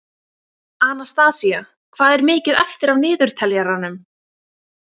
Anastasía, hvað er mikið eftir af niðurteljaranum?